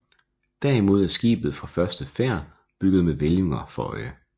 Derimod er skibet fra første færd bygget med hvælvinger for øje